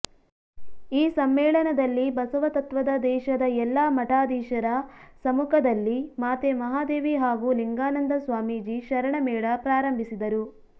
ಈ ಸಮ್ಮೇಳನದಲ್ಲಿ ಬಸವತತ್ವದ ದೇಶದ ಎಲ್ಲ ಮಠಾಧಿಶರ ಸಮುಖದಲ್ಲಿ ಮಾತೆ ಮಹಾದೇವಿ ಹಾಗೂ ಲಿಂಗಾನಂದ ಸ್ವಾಮಿಜಿ ಶರಣ ಮೇಳ ಪ್ರಾರಂಭಿಸಿದರು